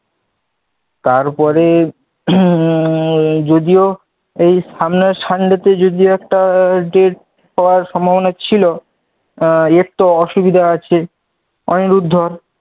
তারপরে উম যদিও এই সামনের sunday তে একটা date পাওয়ার সম্ভাবনা ছিল এর তো অসুবিধা আছে অনিরুদ্ধ,